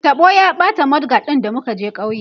taɓo ya ɓata mud guard ɗin da muka je kauye